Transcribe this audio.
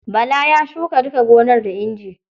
Bala ya shuka duka gonar da inji.